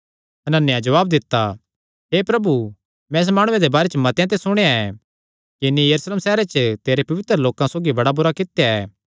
हनन्याह जवाब दित्ता हे प्रभु मैं इस माणुये दे बारे च मतेआं ते सुणेया ऐ कि इन्हीं यरूशलेम सैहरे च तेरे पवित्र लोकां सौगी बड़ा बुरा कित्या ऐ